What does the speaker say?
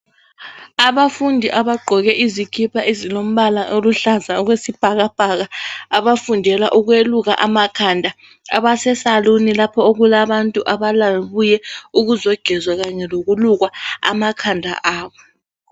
Abafundi abagqoke izikhipha ezilombala oluhlaza okwesibhakabhaka. Abafundela ukweluka amakhanda ,abase saluni lapho okulabantu ababuye ukuzogezwa kanye lokulukwa amakhanda abo.